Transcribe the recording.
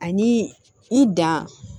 Ani i dan